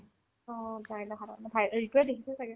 অ, জিতুয়ে দেখিছে ছাগে